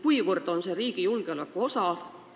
Mil määral on see riigi julgeoleku osa?